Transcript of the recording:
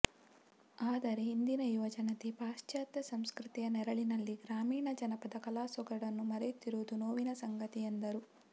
ಆದರೆ ಇಂದಿನ ಯುವ ಜನತೆ ಪಾಶ್ಚಾತ್ಯ ಸಂಸ್ಕೃತಿಯ ನೆರಳಿನಲ್ಲಿ ಗ್ರಾಮೀಣ ಜನಪದ ಕಲಾ ಸೊಗಡನ್ನು ಮರೆಯುತ್ತಿರುವುದು ನೋವಿನ ಸಂಗತಿ ಎಂದರು